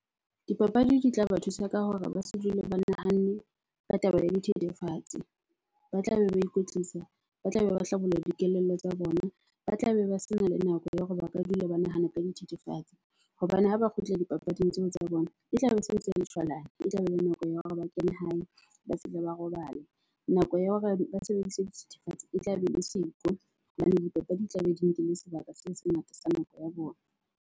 Dipapadi di tla ba thusa ka hore ba se dule ba nahanne ka taba ya dithethefatsi. Ba tlabe ba ikwetlisa, ba tlabe ba hlabolla dikelello tsa bona, ba tlabe ba sena le nako ya hore ba ka dula ba nahana ka dithethefatsi. Hobane ha ba kgutla dipapading tseo tsa bona, e tlabe e sentse e le shwalane. E tlabe e le nako ya hore ba kene hae, ba fihle ba robale. Nako ya hore ba sebedise dithethefatsi e tlabe e le siko hobane dipapadi di tlabe di nkile sebaka se sengata sa nako ya bona.